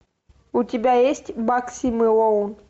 у тебя есть багси мэлоун